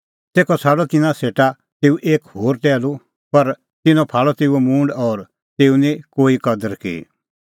तेखअ छ़ाडअ तिन्नां सेटा तेऊ एक होर टैहलू पर तिन्नैं फाल़अ तेऊओ मूंड और तेऊए निं कोई कदर की